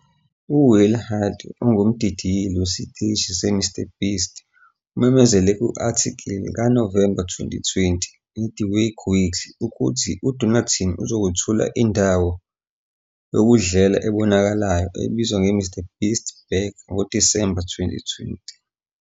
UWill Hyde, ongumdidiyeli wesiteshi seMrBeast, umemezele ku-athikili kaNovemba 2020 "neThe Wake Weekly" ukuthi uDonaldson uzokwethula indawo yokudlela ebonakalayo ebizwa nge-MrBeast Burger ngoDisemba 2020.